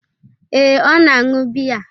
Ee, ọ na-aṅụ biya.